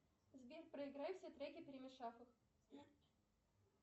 сбер проиграй все треки перемешав их